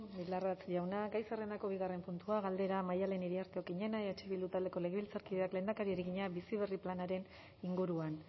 bildarratz jauna gai zerrendako bigarren puntua galdera maddalen iriarte okiñena eh bildu taldeko legebiltzarkideak lehendakariari egina bizi berri hirugarren planaren inguruan